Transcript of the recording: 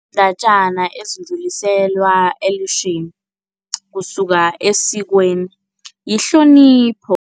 Iindatjana ezidluliselwa kusuka esikweni, yihlonipho.